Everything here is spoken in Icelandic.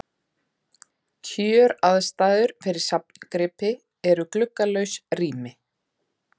Kjöraðstæður fyrir safngripi eru gluggalaus rými.